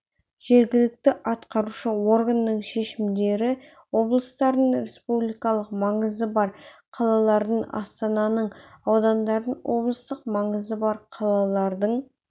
жергілікті атқарушы органдардың шешімдері облыстардың республикалық маңызы бар қалалардың астананың аудандардың облыстық маңызы бар қалалардың